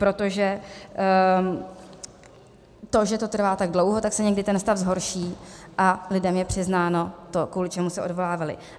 Protože to, že to trvá tak dlouho, tak se někdy ten stav zhorší a lidem je přiznáno to, kvůli čemu se odvolávali.